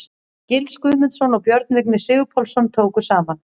Gils Guðmundsson og Björn Vignir Sigurpálsson tóku saman.